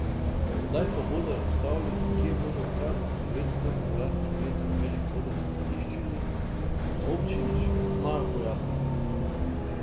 Kdaj ga bodo razstavili in kje bodo kar devetsto kvadratnih metrov velik oder skladiščili, na občini še ne znajo pojasniti.